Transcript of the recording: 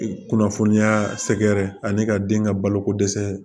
Kunnafoniya sɛgɛrɛ ani ka den ka baloko dɛsɛ